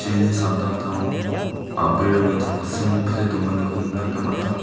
samtangtango a·brirangni tangsimpile donganiko nikna gita man·a.